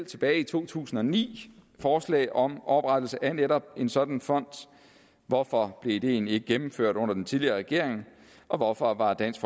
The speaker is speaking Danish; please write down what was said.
tilbage i to tusind og ni forslag om oprettelse af netop en sådan fond hvorfor blev det egentlig ikke gennemført under den tidligere regering og hvorfor har dansk